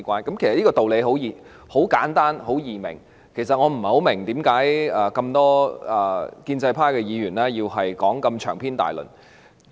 這個道理其實很簡單易明，故此我不太明白為何多位建制派議員要如此長篇大論地發言。